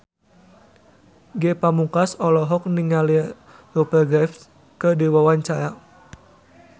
Ge Pamungkas olohok ningali Rupert Graves keur diwawancara